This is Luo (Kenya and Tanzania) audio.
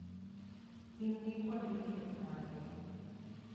In gi kuonde thieth mage?